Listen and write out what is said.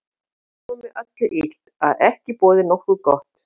En fátt er svo með öllu illt, að ekki boði nokkuð gott.